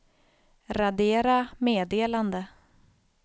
radera meddelande